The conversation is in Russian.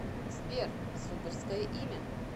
сбер суперское имя